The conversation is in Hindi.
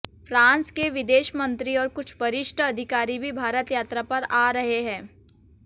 फ्रांस के विदेश मंत्री और कुछ वरिष्ठ अधिकारी भी भारत यात्रा पर आ रहे हैं